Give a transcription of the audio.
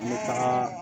N bɛ taga